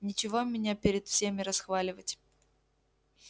нечего меня перед всеми расхваливать